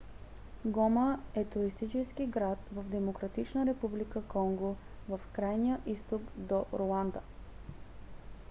гома е туристически град в демократична република конго в крайния изток до руанда